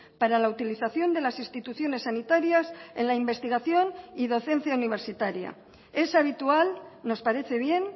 para la utilización de las instituciones sanitarias en la investigación y docencia universitaria es habitual nos parece bien